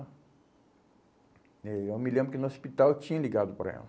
Eh eu me lembro que no hospital eu tinha ligado para ela.